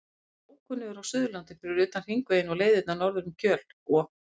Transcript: Ég er alveg ókunnugur á Suðurlandi fyrir utan Hringveginn og leiðirnar norður um Kjöl og